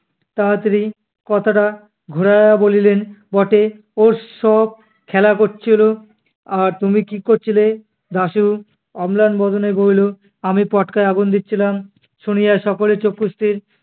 তাড়াতাড়ি কথাটা ঘুরাইয়া বলিলেন, বটে ওর~ওরা সব খেলা কচ্ছিলো আর তুমি কী কচ্ছিলে? দাশু অম্লান বদনে বলিল, আমি পটকায় আগুন দিচ্ছিলাম। শুনিয়াই সকলেই চক্ষুস্থির।